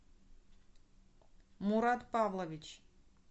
мурат павлович